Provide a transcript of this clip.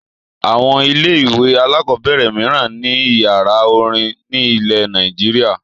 Àwọn ilé-ìwé alákọ̀ọ́bẹ̀rẹ̀ mìíràn ní ìyàrá-orin nílẹ̀ Nàìjíríà.